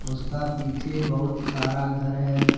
उसका पीछे बहुत सारा घर है।